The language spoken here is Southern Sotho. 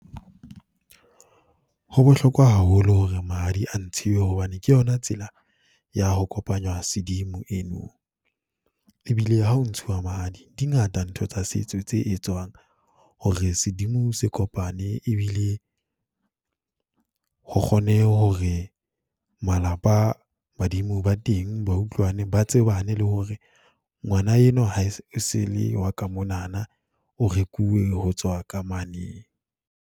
Ho bohlokwa haholo hore mahadi a ntshiwe hobane ke yona tsela ya ho kopanya sedimo eno. E bile ha ho ntshuwa mahadi, di ngata ntho tsa setso, tse etswang hore sedimo se kopane, e bile ho kgonehe hore malapa badimo ba teng ba utlwane, ba tsebane le hore ngwana enwa ha e se le wa ka monana. O rekuwe ho tswa ka mane.